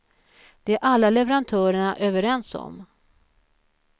Det är alla leverantörerna överens om.